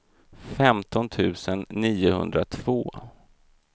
femton tusen niohundratvå